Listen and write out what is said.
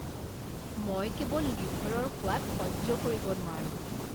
মই কেৱল লিভাৰৰ সোৱাদ সহ্য কৰিব নোৱাৰো।